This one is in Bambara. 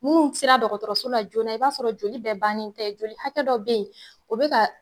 Munnu sera dɔgɔtɔrɔso la joona i b'a sɔrɔ joli bɛɛ bannen tɛ joli hakɛ dɔ be ye, o be ka